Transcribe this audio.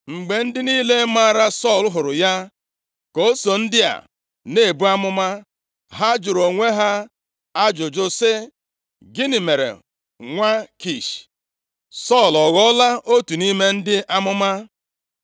Mgbe ndị niile maara Sọl hụrụ ya ka o so ndị a na-ebu amụma, ha jụrụ onwe ha ajụjụ sị, “Gịnị mere nwa Kish? Sọl, ọ ghọọla otu nʼime ndị amụma?”